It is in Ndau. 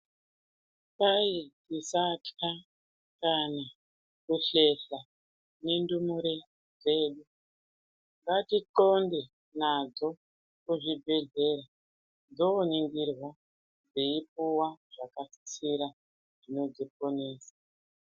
Kwai tisatka kana kuhlehla nendumure dzedu. Ngatixonde nadzo kuzvibhadhlera dzoningirwa dzeipuwa zvakasisira zvinodziponesa.